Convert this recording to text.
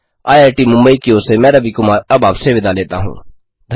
IIT Mumbai की ओर से मैं रवि कुमार अब आपसे विदा लेता हूँ